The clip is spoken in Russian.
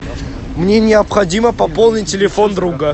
мне необходимо пополнить телефон друга